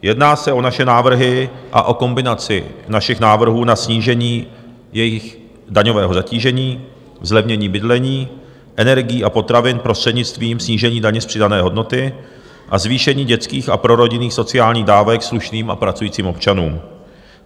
Jedná se o naše návrhy a o kombinaci našich návrhů na snížení jejich daňového zatížení, zlevnění bydlení, energií a potravin prostřednictvím snížení daně z přidané hodnoty a zvýšení dětských a prorodinných sociálních dávek slušným a pracujícím občanům.